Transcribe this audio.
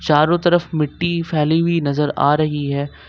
चारों तरफ मिट्टी फैली हुई नजर आ रही है।